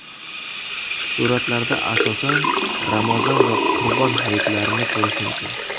Suratlarda asosan Ramazon va Qurbon hayitlarini ko‘rish mumkin.